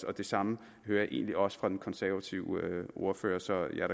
og det samme hører jeg egentlig også fra den konservative ordfører så jeg